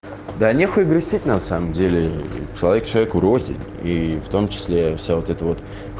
да нехуя грустить на самом деле человек человеку рознь и в том числе все вот это вот